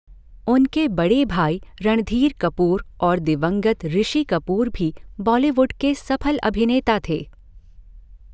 उनके बड़े भाई रणधीर कपूर और दिवंगत ऋषि कपूर भी बॉलीवुड के सफल अभिनेता थे।